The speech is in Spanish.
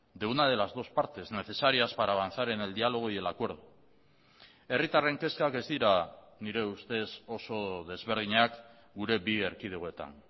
de una de las dos partes necesarias para avanzar en el diálogo y el acuerdo herritarren kezkak ez dira nire ustez oso desberdinak gure bi erkidegoetan